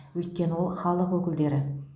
өйткені ол халық өкілдері